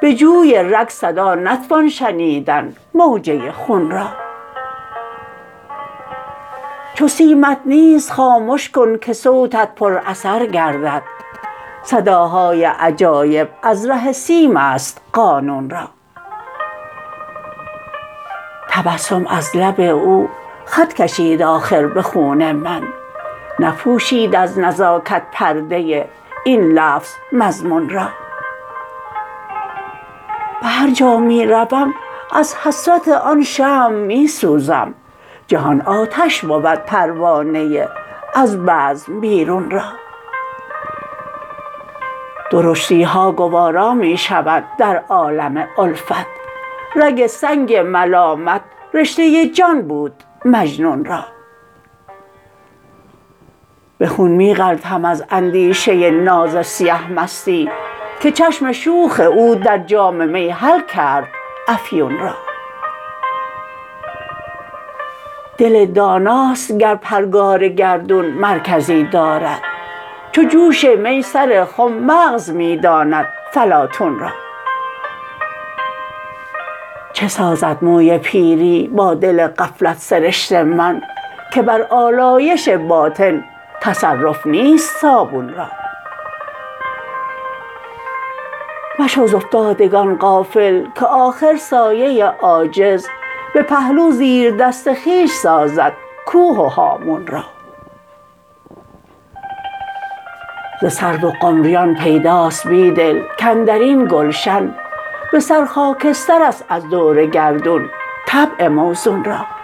به جوی رگ صدا نتوان شنیدن موجه خون را چو سیمت نیست خامش کن که صوتت بی اثر گردد صداهای عجایب از ره سیم است قانون را تبسم از لب او خط کشید آخر به خون من نپوشید از نزاکت پرده این لفظ مضمون را به هرجا می روم ازحسرت آن شمع می سوزم جهان آتش بود پروانه ازبزم بیرون را درشتی ها گوارا می شود در عالم الفت رگ سنگ ملامت رشته جان بود مجنون را به خون می غلتم از اندیشه ناز سیه مستی که چشم شوخ او در جام می حل کرد افیون را دل داناست گر پرگار گردون مرکزی دارد چو جوش می سر خم مغز می داند فلاطون را چه سازد موی پیری با دل غفلت سرشت من که بر آلایش باطن تصرف نیست صابون را مشو ز افتادگان غافل که آخر سایه عاجز به پهلو زیردست خویش سازد کوه و هامون را ز سرو و قمریان پیداست بیدل کاندرین گلشن به سر خاکستر است از دور گردون طبع موزون را